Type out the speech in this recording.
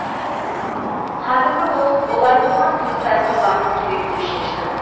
хатымды оқып болар болмас туыстарыма баруым керек деп шештім